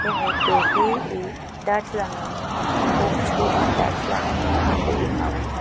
eitur hi in ihh darthlang în bawm chhuangah darthlangah khuh in a awm a ni--